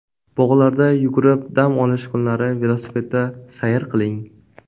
Bog‘larda yugurib, dam olish kunlari velosipedda sayr qiling.